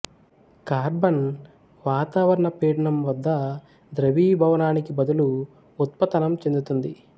carbon వాతావరణ పీడనం వద్ద ద్రవీభవానానికి బదులు ఉత్పతనం చెందుతుంది